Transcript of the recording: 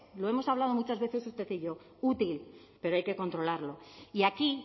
lo hemos hablado muchas veces usted y yo útil pero hay que controlarlo y aquí